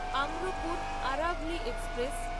Amrapur Aravalli express